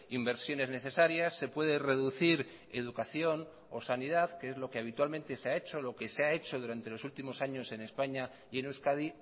inversiones necesarias se puede reducir educación o sanidad que es lo que habitualmente se ha hecho lo que se ha hecho durante los últimos años en españa y en euskadi